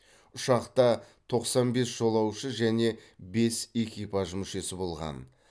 ұшақта тоқсан бес жолаушы және бес экипаж мүшесі болған